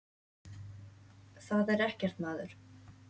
Það er ekkert að maður.